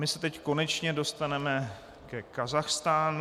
My se teď konečně dostaneme ke Kazachstánu.